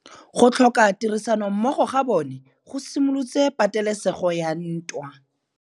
Go tlhoka tirsanommogo ga bone go simolotse patêlêsêgô ya ntwa.